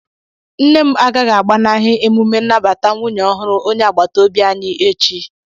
Nne m agaghị agbanahi emume nnabata nwunye ọhụrụ onye agbata obi anyị echi